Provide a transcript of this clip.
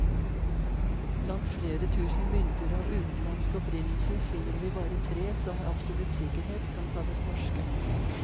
Blant flere tusen mynter av utenlandsk opprinnelse, finner vi bare tre som med absolutt sikkerhet kan kalles norske.